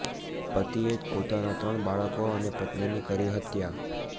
પતિએ જ પોતાના ત્રણ બાળકો અને પત્નીની કરી હત્યા